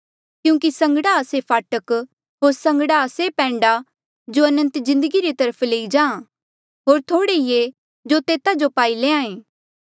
क्यूंकि संगड़ा आ से फाटक होर संगड़ा आ से पैंडा जो अनंत जिन्दगी री तरफ लई जाहाँ होर थोह्ड़े ई ऐें जो तेता जो पाई लैंहां ऐें